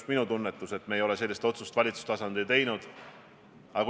Ma saan aru, et see näide, mille te Lissaboni kohta tõite, on ju väga õige, austatud rahvasaadik.